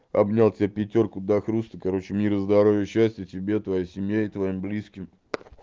обнял тебя пятёрку до хруста короче мира здоровья счастья тебе твоей семье и твоим близким